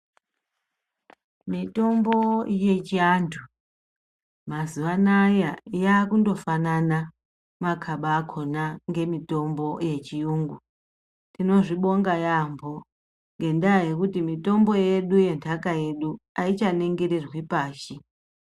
Mitombo yechivantu mazuva anawa yakundofanab makaba akona yechirungu tinozvibonga yambo ngekuti mitombo yedu yenhaka yedu aichaningirirwi pashi.